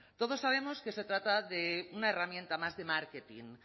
todos sabemos que se trata de una herramienta más de marketing